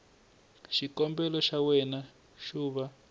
xikombelo xa wena xo va